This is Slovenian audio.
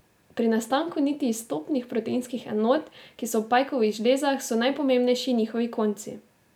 Pri nastanku niti iz topnih proteinskih enot, ki so v pajkovih žlezah, so najpomembnejši njihovi konci.